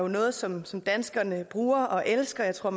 noget som som danskerne bruger og elsker jeg tror